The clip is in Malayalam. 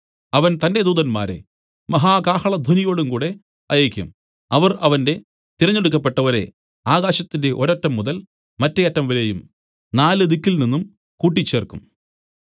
അവൻ തന്റെ ദൂതന്മാരെ മഹാ കാഹളധ്വനിയോടുംകൂടെ അയയ്ക്കും അവർ അവന്റെ തിരഞ്ഞെടുക്കപ്പെട്ടവരെ ആകാശത്തിന്റെ ഒരറ്റംമുതൽ മറ്റെ അറ്റംവരെയും നാല് ദിക്കിൽനിന്നും കൂട്ടിച്ചേർക്കും